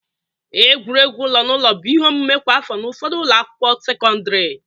Egwuregwu ụlọ na ụlọ bụ ihe omume kwa afọ n'ụfọdụ ụlọ akwụkwọ sekọndịrị.